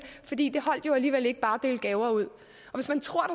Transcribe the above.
fordi det jo alligevel ikke holdt bare at dele gaver ud og hvis man tror